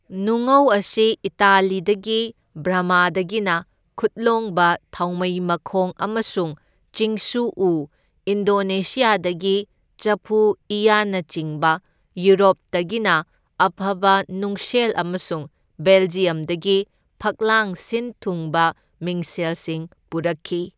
ꯅꯨꯡꯉꯧ ꯑꯁꯤ ꯏꯇꯥꯂꯤꯗꯒꯤ, ꯕꯔꯃꯥꯗꯒꯤꯅ ꯈꯨꯠꯂꯣꯡꯕ ꯊꯥꯎꯃꯩ ꯃꯈꯣꯡ ꯑꯃꯁꯨꯡ ꯆꯤꯡꯁꯨ ꯎ, ꯏꯟꯗꯣꯅꯦꯁꯤꯌꯥꯗꯒꯤ ꯆꯐꯨ ꯏꯋꯥꯟꯅꯆꯤꯡꯕ, ꯌꯨꯔꯣꯞꯇꯒꯤꯅ ꯑꯐꯕ ꯅꯨꯡꯁꯦꯜ ꯑꯃꯁꯨꯡ ꯕꯦꯜꯖꯤꯌꯝꯗꯒꯤ ꯐꯛꯂꯥꯡ ꯁꯤꯟ ꯊꯨꯡꯕ ꯃꯤꯡꯁꯦꯜꯁꯤꯡ ꯄꯨꯔꯛꯈꯤ꯫